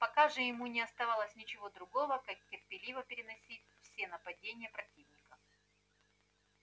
пока же ему не оставалось ничего другого как терпеливо переносить все нападения противника